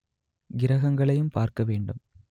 கிரகங்களையும் பார்க்க வேண்டும்